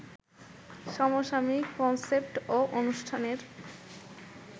সমসাময়িক কনসেপ্ট ও অনুষ্ঠানের